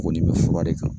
Kɔni bɛ fura de kan